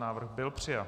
Návrh byl přijat.